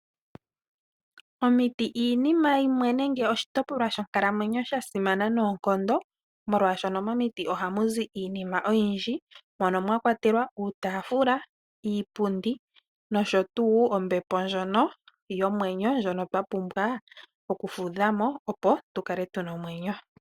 Omiti iinima yimwe mbyoka ya simana monkalamwenyo noonkondo, molwashoka momiti ohamu zi iinima oyindji mono mwa kwatelwa uutaafula, iipundi noshowo ombepo ndjoka hatu fudhile mo, opo tu kale tu na omwenyo.